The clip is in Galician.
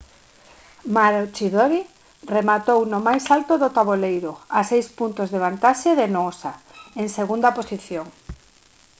maroochydore rematou no máis alto do taboleiro a seis puntos de vantaxe de noosa en segunda posición